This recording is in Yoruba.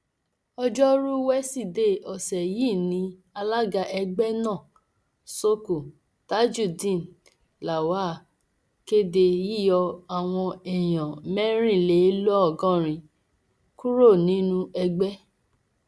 ọjọrùú wíṣídẹẹ ọsẹ yìí ni alága ẹgbẹ náà sooko tajudeen lawal kéde yíyọ àwọn èèyàn mẹrìnlélọgọrin kúrò nínú ẹgbẹ